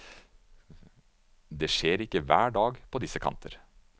Det skjer ikke hver dag på disse kanter.